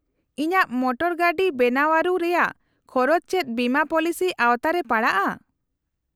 -ᱤᱧᱟᱹᱜ ᱢᱚᱴᱚᱨᱜᱟᱹᱰᱤ ᱵᱮᱱᱟᱣᱟᱹᱨᱩ ᱨᱮᱭᱟᱜ ᱠᱷᱚᱨᱚᱪ ᱪᱮᱫ ᱵᱤᱢᱟᱹ ᱯᱚᱞᱤᱥᱤ ᱟᱶᱛᱟ ᱨᱮ ᱯᱟᱲᱟᱜᱼᱟ ?